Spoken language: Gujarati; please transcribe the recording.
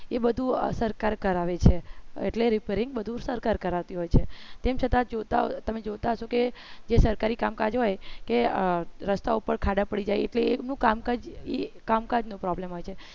એ બધું આ સરકાર કરાવે છે એટલે repairing બધું સરકાર કરાવતી હોય છે તેમ છતાં તમે જોતા હશો કે એ સરકારી કામકાજ હોય કે રસ્તા ઉપર ખાડા પડી જાય એટલે શું કામ કર કામકાજ નો problem હોય છે